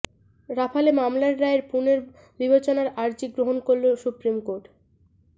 Rafale মামলার রায়ের পুনর্বিবেচনার আর্জি গ্রহণ করল সুপ্রিম কোর্ট